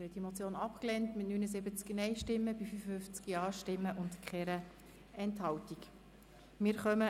Sie haben Motion abgelehnt mit 79 Nein- zu 55 Ja-Stimmen bei 0 Enthaltungen.